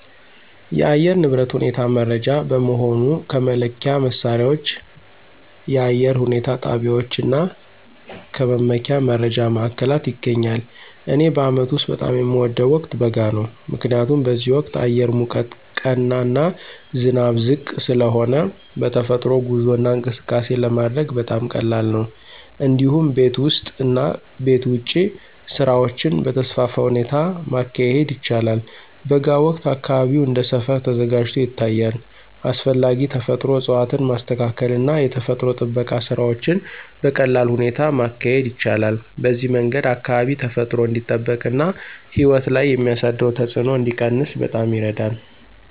የአየር ንብረት ሁኔታ መረጃ በመሆኑ ከመለኪያ መሣሪያዎች፣ የአየር ሁኔታ ጣቢያዎች እና ከመመኪያ መረጃ ማዕከላት ይገኛል። እኔ በአመቱ ውስጥ በጣም የሚወደው ወቅት በጋ ነው። ምክንያቱም በዚህ ወቅት አየር ሙቀት ቀና እና ዝናብ ዝቅ ስለሆነ በተፈጥሮ ጉዞ እና እንቅስቃሴ ለማድረግ በጣም ቀላል ነው። እንዲሁም ቤት ውስጥ እና ቤት ውጭ ስራዎችን በተስፋፋ ሁኔታ ማካሄድ ይቻላል። በጋ ወቅት አካባቢው እንደ ሰፈር ተዘጋጅቶ ይታያል፣ አስፈላጊ ተፈጥሮ እፅዋትን ማስተካከል እና የተፈጥሮ ጥበቃ ስራዎችን በቀላል ሁኔታ ማካሄድ ይቻላል። በዚህ መንገድ አካባቢ ተፈጥሮ እንዲጠበቅ እና ሕይወት ላይ የሚያሳደረው ተጽዕኖ እንዲቀነስ በጣም ይረዳል።